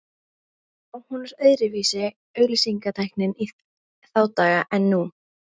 Já, hún var öðruvísi auglýsingatæknin í þá daga en nú.